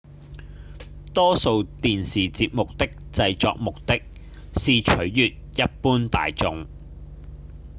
多數電視節目的製作目的是取悅一般大眾